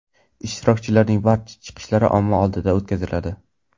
Ishtirokchilarning barcha chiqishlari omma oldida o‘tkaziladi.